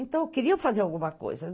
Então, eu queria fazer alguma coisa.